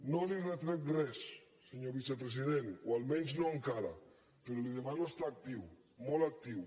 no li retrec res senyor vicepresident o almenys no encara però li demano estar actiu molt actiu